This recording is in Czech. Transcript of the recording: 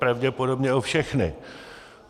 Pravděpodobně o všechny.